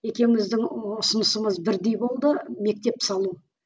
екеуіміздің ұсынысымыз бірдей болды мектеп салу